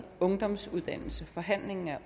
forhandlingen er